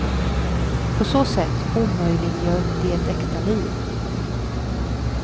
På så sätt omöjliggör de ett äkta liv.